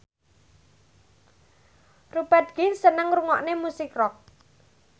Rupert Grin seneng ngrungokne musik rock